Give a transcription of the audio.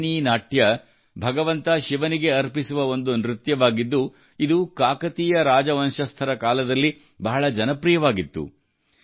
ಪೆರಿನೀ ನಾಟ್ಯ ಭಗವಂತ ಶಿವನಿಗೆ ಅರ್ಪಿಸುವ ಒಂದು ನೃತ್ಯವಾಗಿದ್ದು ಇದು ಕಾಕತೀಯ ರಾಜವಂಶಸ್ಥರ ಕಾಲದಲ್ಲಿ ಬಹಳ ಜನಪ್ರಿಯವಾಗಿತ್ತು